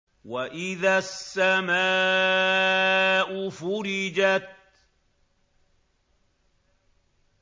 وَإِذَا السَّمَاءُ فُرِجَتْ